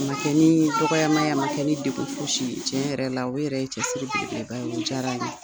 A man kɛ ni dɔgɔyama ye a man kɛ ni degun fosi ye tiɲɛ yɛrɛ la o yɛrɛ ye cɛsiri belebeleba ye o diyara n ye.